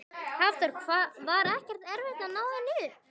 Hafþór: Var ekkert erfitt að ná henni upp?